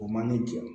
O man ne jɔ